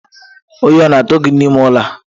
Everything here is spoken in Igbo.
Oyi o na atu gi n'ime ụlọ a?